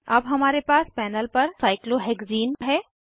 अब हमारे पास पैनल पर साइक्लोहेक्सीन है